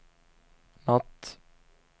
natt